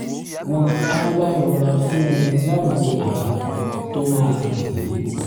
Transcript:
wọ́n á wá rọra fún un láwọn àbá tó máa tẹ̀lé